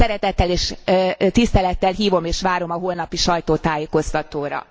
Szeretettel és tisztelettel hívom és várom a holnapi sajtótájékoztatóra.